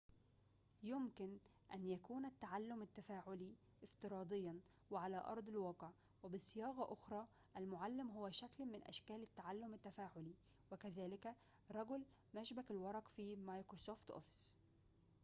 يمكن أن يكون التعلم التفاعلي افتراضياً وعلى أرض الواقع وبصياغةٍ أخرى المعلم هو شكل من أشكال التعلم التفاعلي وكذلك رجل مشبك الورق في مايكروسوفت أوفيس